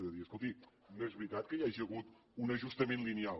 és a dir escolti no és veritat que hi hagi hagut un ajustament lineal